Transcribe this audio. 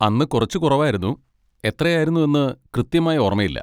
അന്ന് കുറച്ച് കുറവായിരുന്നു, എത്രയായിരുന്നെന്ന് കൃത്യമായി ഓർമ്മയില്ല.